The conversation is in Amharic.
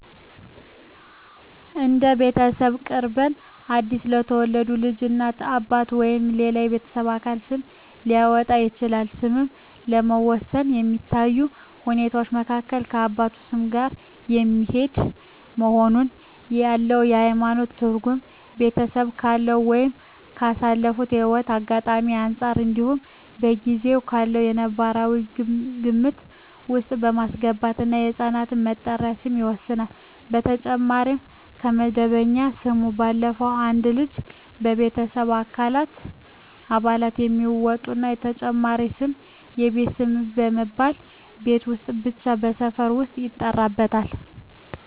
እንደ ቤተሰቡ ቅርበት አዲስ ለተወለደ ልጅ እናት፣ አባት ወይም ሌላው የቤተሰብ አባል ስም ሊያወጣለት ይችላል። ስምን ለመወሰን ከሚታዩ ሁኔታወች መካከል ከአባቱ ስም ጋር የሚሄድ መሆኑን፣ ያለው የሀይማኖት ትርጉም፣ ቤተሰቡ ካለው ወይም ካሳለፈው ህይወት አጋጣሚወች አንፃር እንዲሁም በጊዜው ካለው ነባራዊ ግምት ውስጥ በማስገባት የህፃን መጠሪያ ስም ይወሰናል። በተጨማሪም ከመደበኛ ስሙ ባለፈም አንድ ልጅ የቤተሰብ አባላት የሚያወጡለት ተጨማሪ ስም የቤት ስም በመባል ቤት ውስጥ እና ሰፈር ውስጥ ይጠራበታል።